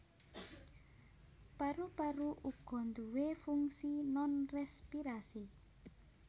Paru paru uga nduwé fungsi nonrespirasi